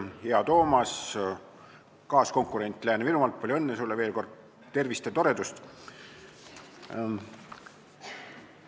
Hea Toomas, kaaskonkurent Lääne-Virumaalt, palju õnne sulle veel kord, tervist ja toredust!